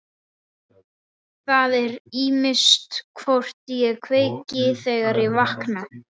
Það er ýmist hvort ég kveiki, þegar ég vakna.